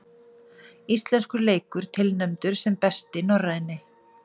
Íslenskur leikur tilnefndur sem besti norræni